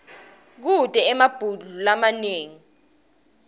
kute emabhudlo lamanengi